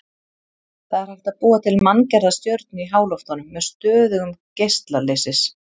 Það er hægt að búa til manngerða stjörnu í háloftunum með stöðugum geisla leysis.